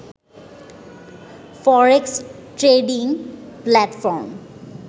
forex trading platform